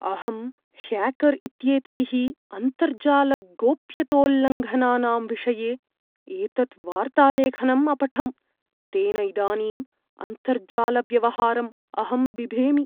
अहं ह्याकर् इत्येतैः अन्तर्जालगोप्यतोल्लङ्घनानां विषये एतत् वार्तालेखनम् अपठं, तेन इदानीम् अन्तर्जालव्यवहारम् अहं बिभेमि।